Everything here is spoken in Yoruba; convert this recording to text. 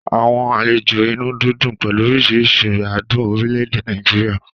Àwọn àlejò inú dídùn pẹ̀lú oríṣiríṣi adùn orílẹ̀-èdè Nàìjíríà